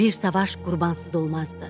Bir savaş qurbansız olmazdı.